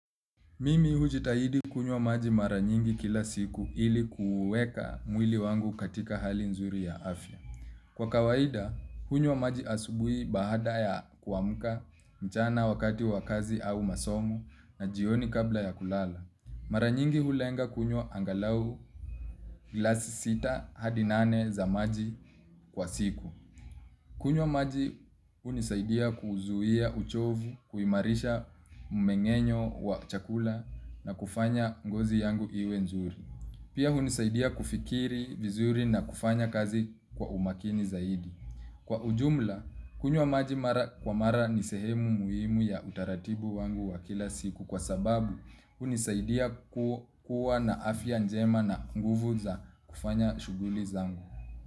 Mimi hujitahidi kunywa maji mara nyingi kila siku ili kuuweka mwili wangu katika hali nzuri ya afya. Kwa kawaida, kunywa maji asubuhi baada ya kuamka, mchana wakati wa kazi au masomo, na jioni kabla ya kulala. Mara nyingi hulenga kunywa angalau glasi sita hadi nane za maji kwa siku. Kunywa maji hunisaidia kuzuia uchovu, kuimarisha mmengenyo wa chakula na kufanya ngozi yangu iwe nzuri. Pia unisaidia kufikiri vizuri na kufanya kazi kwa umakini zaidi. Kwa ujumla, kunywa maji mara kwa mara ni sehemu muhimu ya utaratibu wangu wa kila siku kwa sababu hunisaidia kuwa na afya njema na nguvu za kufanya shughuli zangu.